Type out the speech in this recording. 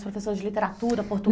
Os professores de literatura